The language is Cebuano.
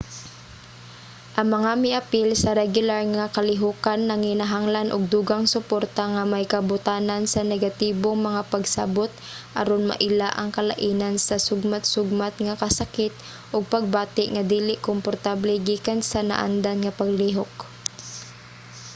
ang mga miapil sa regular nga kalihokan nanginahanglan og dugang suporta nga may kabotanan sa negatibong mga pagsabut aron maila ang kalainan sa sugmat-sugmat nga kasakit ug pagbati nga dili komportable gikan sa naandan nga paglihok